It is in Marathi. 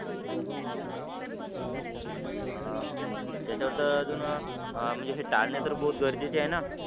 अं त्याच्यावरत अजून अं हे टाळणे बहुत गरजेचे आहे ना